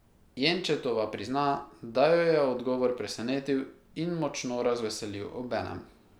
Jenčetova prizna, da jo je odgovor presenetil in močno razveselil obenem.